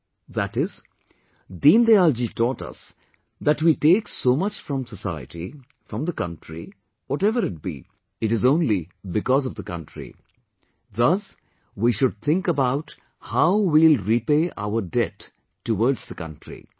" That is, Deen Dayal ji taught us that we take so much from society, from the country, whatever it be, it is only because of the country ; thus we should think about how we will repay our debt towards the country